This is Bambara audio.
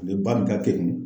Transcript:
Ne ba min ka kekun.